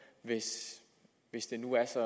hvis det nu er så